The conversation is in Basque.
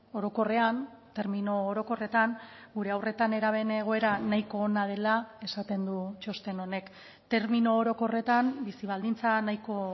orokorrean termino orokorretan gure haur eta nerabeen egoera nahiko ona dela esaten du txosten honek termino orokorretan bizi baldintza nahiko